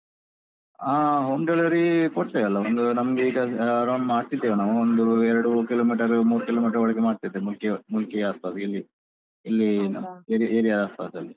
ಹಾ home delivery ಕೊಡ್ತೇವಲ್ಲ, ಒಂದು ನಮ್ಗೆ ಈಗ around ಮಾಡ್ತಿದ್ದೇವೆ ನಾವು ಒಂದು ಎರಡು kilometer ಮೂರ್ kilometer ಒಳಗೆ ಮಾಡ್ತಿದ್ದೇವೆ ಮುಲ್ಕಿ~ ಮುಲ್ಕಿಯ ಬದಿಯಲ್ಲಿ ಇಲ್ಲಿ. area area ಪಾಸಲ್ಲಿ.